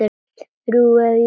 Þrjú hef ég fengið.